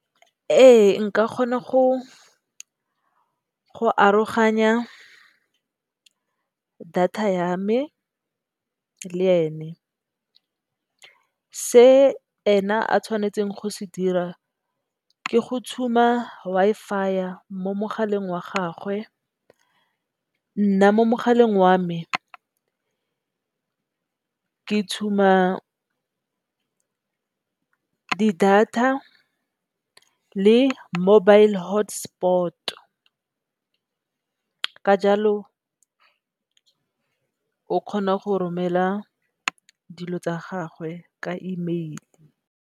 Ee nka kgona go aroganya data ya me le ene se ena a tshwanetseng go se dira ke go tshuma Wi-Fi mo mogaleng wa gagwe. Nna mo mogaleng wa me ke tshuma data le mobile hotspot ka jalo o kgona go romela dilo tsa gagwe ka emeile.